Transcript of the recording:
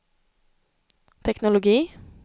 teknologi